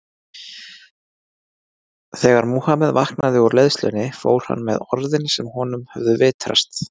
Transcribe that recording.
Þegar Múhameð vaknaði úr leiðslunni fór hann með orðin sem honum höfðu vitrast.